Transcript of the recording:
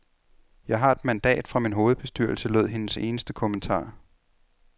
Jeg har et mandat fra min hovedbestyrelse, lød hendes eneste kommentar.